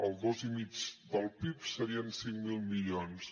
el dos coma cinc del pib serien cinc mil milions